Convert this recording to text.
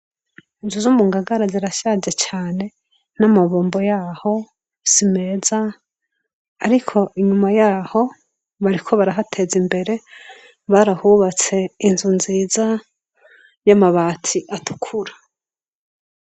Inzu zo mungagara zirashaje cane n'amabombo yaho simeza ariko inyuma yaho bariko barahateza imbere barahubatse inzu nziza y'amabati atukura.